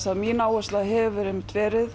að mín áhersla hefur verið